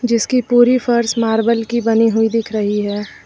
जिसकी पूरी फर्श मार्बल की बनी हुई दिख रही है।